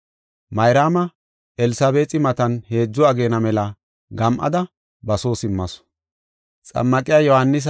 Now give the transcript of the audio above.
Mayraama Elsabeexi matan heedzu ageena mela gam7ada ba soo simmasu.